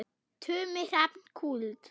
Tumi Hrafn Kúld.